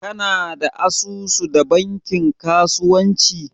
kana da asusu da bankin kasuwanci?